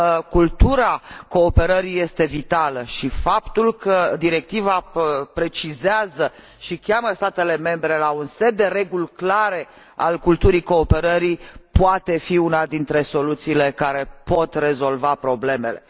Cultura cooperării este vitală și faptul că directiva precizează și îndeamnă statele membre să adopte un set de reguli clare ale culturii cooperării poate fi una dintre soluțiile care pot rezolva problemele.